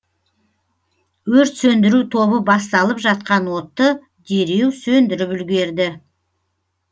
өрт сөндіру тобы басталып жатқан отты дереу сөндіріп үлгерді